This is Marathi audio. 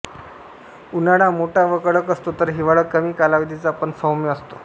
उन्हाळा मोठा व कडक असतो तर हिवाळा कमी कालावधीचा पण सौम्य असतो